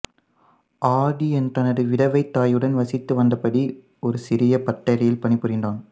ஆதி தனது விதவை தாயுடன் வசித்து வந்தபடி ஒரு சிறிய பட்டறையில் பணிபுரிந்தான்